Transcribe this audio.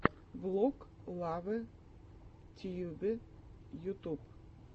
влог лавэ тьюбэ ютуб